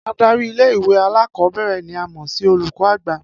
Adari ilé ìwé alákò̩ó̩bè̩rè̩ ni a mò̩ sí olùkó̩ àgbà